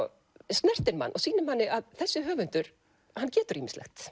snertir mann og sýnir manni að þessi höfundur getur ýmislegt